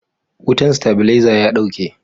wutan stabileza ya dauke